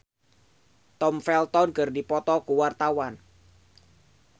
Oppie Andaresta jeung Tom Felton keur dipoto ku wartawan